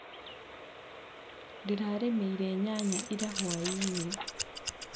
Ndĩrarĩmĩire nyanya ira hwainĩ.